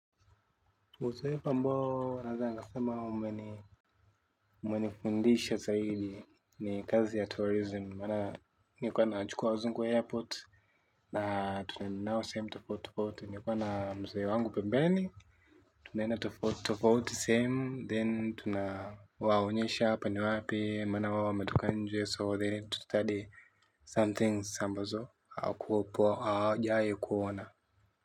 Uzoefu ambao naeza nkasema umenifundisha zaidi ni kazi ya tourism maana nilikuwa nachukua wazungu airport. Na tunaenda nao sehemu tofauti tofauti nlikuwa na mzee wangu pembeni. Tunaenda tofauti tofauti sehemu then tunawaonyesha hapa ni wapi maana wao wametoka nje so they need to study Somethings ambazo hauweko hawajawahi kuona.